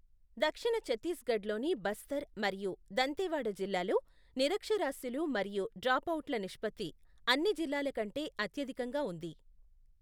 దక్షిణ ఛత్తీస్గఢ్లోని బస్తర్ మరియు దంతెవాడ జిల్లాల్లో నిరక్షరాస్యులు మరియు డ్రాప్అవుట్ల నిష్పత్తి అన్ని జిల్లాల కంటే అత్యధికంగా ఉంది.